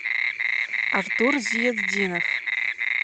артур зиятдинов